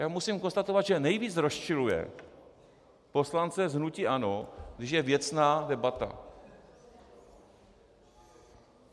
Já musím konstatovat, že nejvíc rozčiluje poslance z hnutí ANO, když je věcná debata.